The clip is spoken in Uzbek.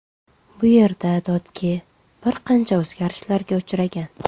Bu yerda Dodge bir qancha o‘zgarishlarga uchragan.